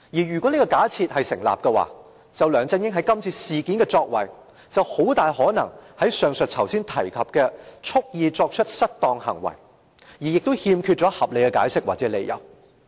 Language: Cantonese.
如果這假設成立，梁振英在今次事件中的作為，就很大可能屬於上述5個主要元素中的蓄意作出失當行為，而欠缺合理解釋或理由。